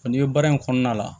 N'i bɛ baara in kɔnɔna la